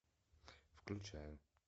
включаю